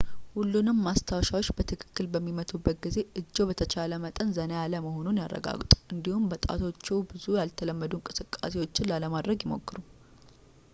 ሁሉንም ማስታወሻዎች በትክክል በሚመቱበት ጊዜ እጅዎ በተቻለ መጠን ዘና ያለ መሆኑን ያረጋግጡ እንዲሁም በጣቶችዎ ብዙ ያልተለመዱ እንቅስቃሴዎችን ላለማድረግ ይሞክሩ